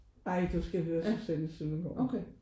Ej du skal høre Susanne Søndergaard